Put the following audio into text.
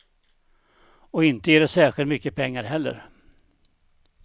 Och inte ger det särskilt mycket pengar heller.